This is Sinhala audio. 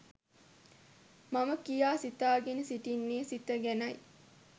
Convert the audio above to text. මම කියා සිතාගෙන සිටින්නේ සිත ගැනයි.